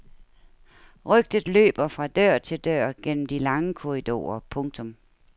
Rygtet løber fra dør til dør gennem de lange korridorer. punktum